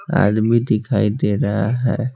आदमी दिखाई दे रहा है।